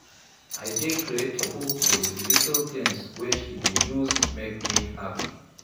I dey grateful for di little tins wey she dey use make me happy.